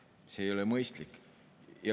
See ei ole mõistlik.